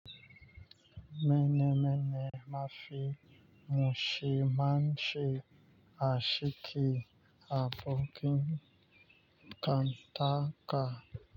Mene mene mafi mushe, mashi ashe, ashiki abokin kanta ka.